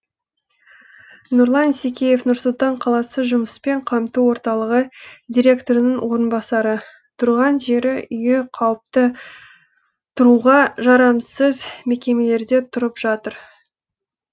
нұрлан исекеев нұр сұлтан қаласы жұмыспен қамту орталығы директорының орынбасары тұрған жері үйі қауіпті тұруға жарамсыз мекемелерде тұрып жатыр